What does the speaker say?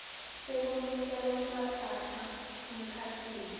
sekulungisa lokungatsatsa emkhatsini